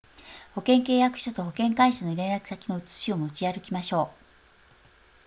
保険契約書と保険会社の連絡先の写しを持ち歩きましょう